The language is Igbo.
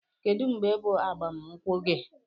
Kedụ mgbe bụ agbam nkwụ gi?